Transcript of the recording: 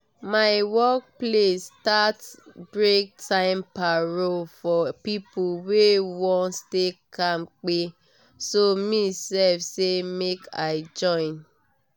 my workplace start breaktime paro for people wey wan stay kampe so me sef say make i join